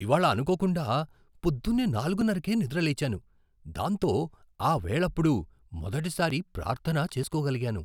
ఇవాళ్ళ అనుకోకుండా పొద్దున్నే నాలుగున్నరకే నిద్ర లేచాను, దాంతో ఆ వేళప్పుడు మొదటిసారి ప్రార్థన చేసుకోగలిగాను.